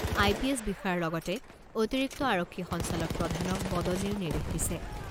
আই P S বিষয়াৰ লগতে অতিৰিক্ত আৰক্ষী সঞ্চালক প্ৰধানক বদলিৰ নিৰ্দেশ দিছে।